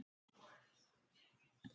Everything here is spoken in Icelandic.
Bara hreint ekki neitt.